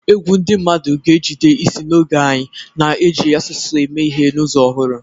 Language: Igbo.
Egwu ndị mmadụ ga-ejide isi n'oge anyị, na-eji asụsụ eme ihe n'ụzọ ọhụrụ.